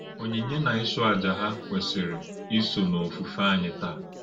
Ònyínyè na ịchụ àjà hà kwesìrì ísò n’òfùfé ányí tàá?